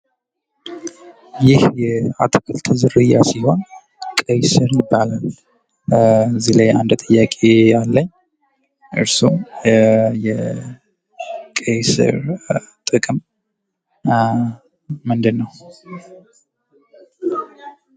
ይህ የአትክልት ዝርያ ሲሆን ቀይ ስር ይባላል ። ከዚህ ላይ አንድ ጥያቄ አለኝ እርሱም የቀይ ስር ጥቅም ምንድን ነው?